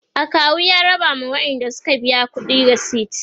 akawu ya raba ma waƴanda Suka biya ƙuɗi resit